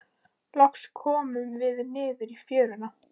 Loks komum við niður í fjöruna.